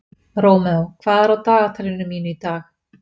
Rómeó, hvað er á dagatalinu mínu í dag?